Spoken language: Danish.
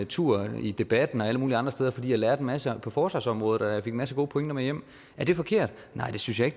tur i debatten og alle mulige andre steder fordi jeg lærte en masse på forsvarsområdet og jeg en masse gode pointer med hjem er det forkert nej det synes jeg